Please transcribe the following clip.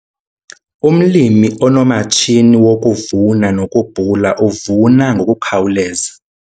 Umlimi onomatshini wokuvuna nokubhula uvuna ngokukhawuleza.